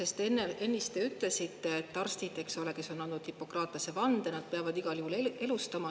Te ennist ütlesite, et arstid, kes on andnud Hippokratese vande, nad peavad igal juhul elustama.